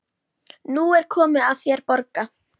Nú er komið að þér að borga.